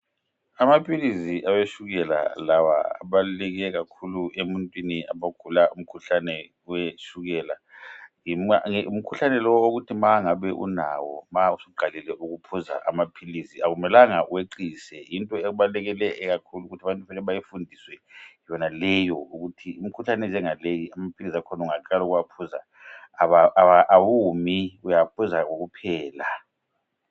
Amaphilizi awetshukela lawa abaluleke khakhulu ebantwini abagula umkhuhlane wetshukela ngumkhuhlane othi nxa ungabe usulawo nxa usuqalile ukuphuza amaphilisi awumi abantu kumele bakufundiswe ukuthi imikhuhlane enjengaleyi amaphilisi akhona ungaqalisa ukuwanatga awumi